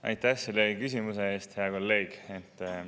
Aitäh selle küsimuse eest, hea kolleeg!